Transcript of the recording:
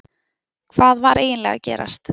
Hvað var eiginlega að gerast?